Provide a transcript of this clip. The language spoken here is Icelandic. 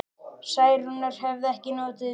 Særúnar hefði ekki notið við.